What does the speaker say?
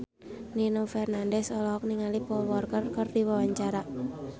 Nino Fernandez olohok ningali Paul Walker keur diwawancara